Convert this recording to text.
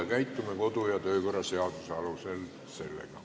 Me käitume sellega kodu- ja töökorra seaduse alusel.